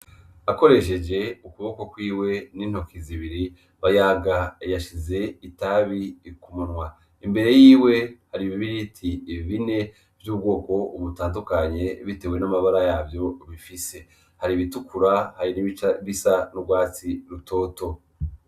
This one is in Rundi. Akoresheje ukuboko kwiwe n'intoki zibiri, Bayaga yashize itabi ku munwa, imbere yiwe hari ibibiriti bine vy'ubwoko butandukanye bitewe n'amabara yavyo bifise, hari ibitukura hari nibica bisa n'urwatsi rutoto.